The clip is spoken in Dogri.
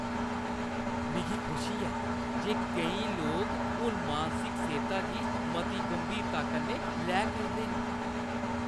मिगी खुशी ऐ जे केईं लोक हून मानसिक सेह्‌ता गी मती गंभीरता कन्नै लै करदे न।